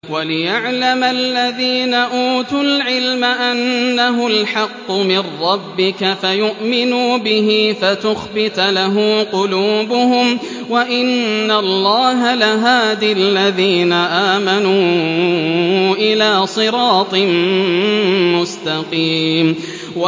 وَلِيَعْلَمَ الَّذِينَ أُوتُوا الْعِلْمَ أَنَّهُ الْحَقُّ مِن رَّبِّكَ فَيُؤْمِنُوا بِهِ فَتُخْبِتَ لَهُ قُلُوبُهُمْ ۗ وَإِنَّ اللَّهَ لَهَادِ الَّذِينَ آمَنُوا إِلَىٰ صِرَاطٍ مُّسْتَقِيمٍ